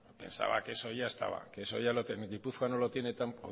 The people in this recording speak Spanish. pensaba que eso ya estaba que eso ya lo tenía gipuzkoa no tiene